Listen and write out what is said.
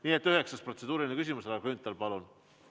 Nii et üheksas protseduuriline küsimus, härra Grünthal, palun!